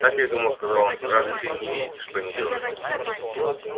так я и думал сказал он разве ты не видите что они делают